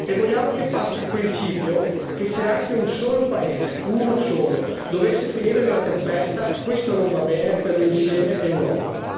E vogliamo che passi il principio secondo cui se anche un solo paese uno solo dovesse finire nella tempesta, questo non va bene per l'insieme dell'Europa.